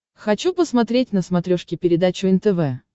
хочу посмотреть на смотрешке передачу нтв